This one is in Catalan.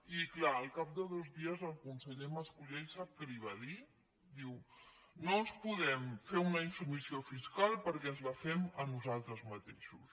i clar al cap de dos dies el conseller mas colell sap què li va dir diu no ens podem fer una insubmissió fiscal perquè ens la fem a nosaltres mateixos